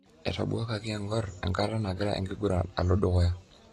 Etabwakaki engor enkata nagira enkiguran alodukuya.